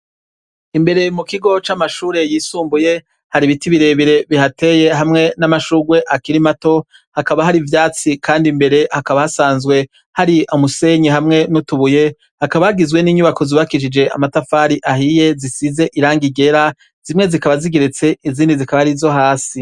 Imbere mukigo c'amashure yisumbuye hari ibiti birebire bihateye n'amashurwe akiri mato, hakaba hari ivyatsi kandi imbere hasanzwe hari imisenyi hamwe n'utubuye, hakaba hagizwe n'inyubako zubakishijwe n'amatafari ahiye, zisize irangi ryera, zimwe zikaba zigeretse izindi zikaba arizo hasi.